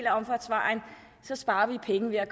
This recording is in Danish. af omfartsvejen sparer vi penge ved at